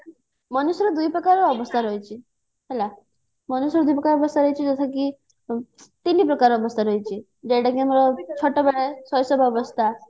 ମନୁଷ୍ୟର ଦୁଇ ପ୍ରକାର ଅବସ୍ଥା ରହିଛି ହେଲା ମନୁଷ୍ୟର ଦୁଇ ପ୍ରକାର ଅବସ୍ଥା ରହିଛି ଯଥା କି ତିନି ପ୍ରକାର ଅବସ୍ଥା ରହିଛି ଯୋଉ ଟାକି ଆମର ଶୈଶବ ଅବସ୍ଥା